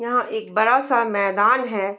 यहाँ एक बड़ा सा मैदान है।